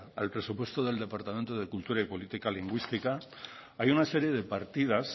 al presupuesto del departamento de cultura y políticas lingüísticas hay una serie de partidas